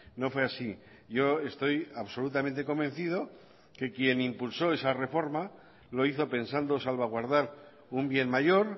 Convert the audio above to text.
no fue así yo estoy absolutamente convencido que quien impulsó esa reforma lo hizo pensando salvaguardar un bien mayor